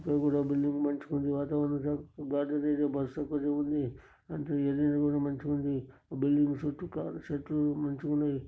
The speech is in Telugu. బిల్డింగ్ మంచిగుంది. వాతావరణం గార్డెన్ ఏరియా బస్సు పెద్దగుంది. అంత ఏరియా కూడా మంచిగుంది. బిల్డింగ్ చుట్టూ కారు చెట్లు మంచిగున్నాయి.